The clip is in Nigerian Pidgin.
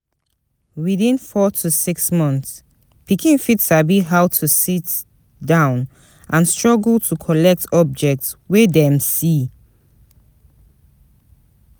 Within four to six months pikin fit sabi how to sit-down and struggle to collect objects wey dem see